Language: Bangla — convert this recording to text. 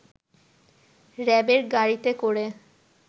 র‌্যাবের গাড়িতে করে